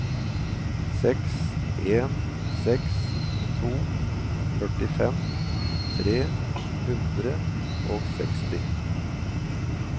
seks en seks to førtifem tre hundre og seksti